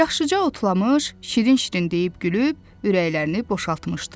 Yaxşıca otlamış, şirin-şirin deyib-gülüb ürəklərini boşaltmışdılar.